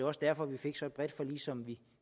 også derfor vi fik så bredt et forlig som vi